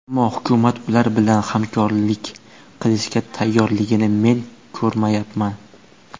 Ammo hukumat ular bilan hamkorlik qilishga tayyorligini men ko‘rmayapman.